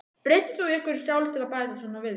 Breyttir þú einhverju sjálf til að bæta svona við þig?